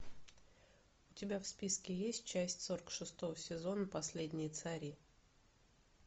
у тебя в списке есть часть сорок шестого сезона последние цари